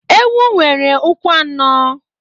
Ewu nwere ụkwụ anọ.